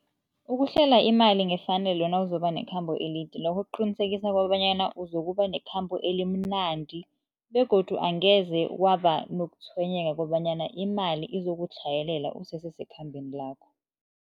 Ukuhlela imali ngefanelo nawuzobe nekhamba elide lokho kuqinisekisa kobanyana uzokuba nekhamba elimnandi begodu angeze kwaba nokutshwenyeka kobanyana imali izokutlhayelela usesesekhambeni lakho.